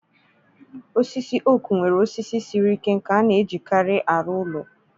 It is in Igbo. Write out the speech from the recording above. Osisi oak nwere osisi siri ike nke a na-ejikarị arụ ụlọ.